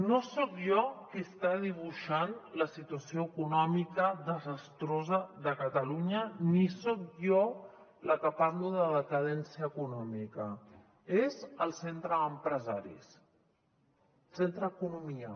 no soc jo qui està dibuixant la situació econòmica desastrosa de catalunya ni soc jo la que parlo de decadència econòmica és el centre d’empresaris centre d’economia